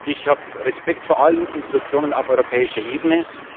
Ich habe Respekt vor allen Institutionen auf europäischer Ebene.